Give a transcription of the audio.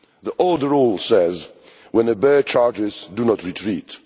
An old rule says When a bear charges, do not retreat'.